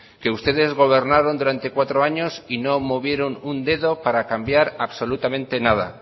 que ustedes gobernaron durante cuatro años y no movieron un dedo para cambiar absolutamente nada